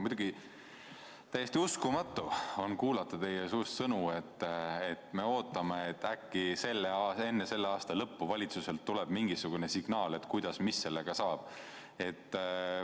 Muidugi täiesti uskumatu on kuulata teie suust sõnu, et ootame, äkki enne selle aasta lõppu tuleb valitsuselt mingisugune signaal, mis sellega saab.